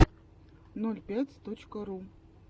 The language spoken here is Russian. ноль пять точка ру